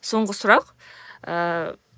соңғы сұрақ ыыы